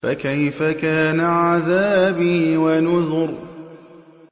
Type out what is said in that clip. فَكَيْفَ كَانَ عَذَابِي وَنُذُرِ